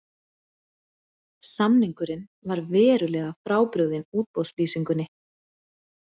Samningurinn var verulega frábrugðinn útboðslýsingunni